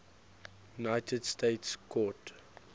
united states court